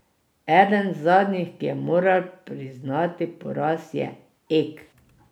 Eden zadnjih, ki je moral priznati poraz, je Ek.